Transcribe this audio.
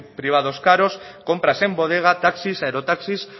privados caros compras en bodega taxis aerotaxis